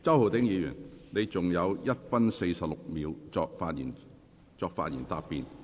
周浩鼎議員，你還有1分46秒作發言答辯。